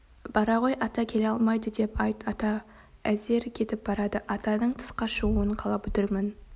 бара ғой ата келе алмайды деп айт ата әзер кетіп барады атаның тысқа шығуын қалап отырмын